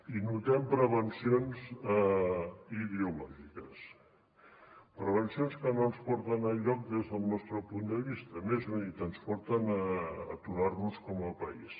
hi notem prevencions ideològiques prevencions que no ens porten enlloc des del nostre punt de vista més ben dit ens porten a aturar nos com a país